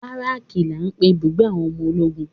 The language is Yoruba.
Baraki la ń pè ibùgbé àwọn ọmọ ológun.